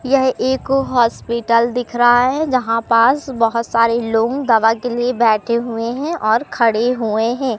यह एक हॉस्पिटल दिख रहा है जहां पास बहुत सारे लोग दवा के लिए बैठे हुए हैं और खड़े हुए हैं।